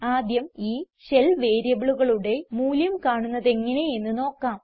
ആദ്യം ഈ ഷെൽ വേരിയബിളുകളുടെ മൂല്യം കാണുന്നതെങ്ങനെ എന്ന് നോക്കാം